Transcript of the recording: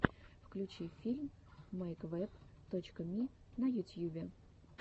включи фильм мэйквэб точка ми на ютьюбе